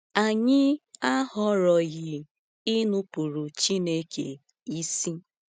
Anyị ahọrọghị inupuru Chineke isi.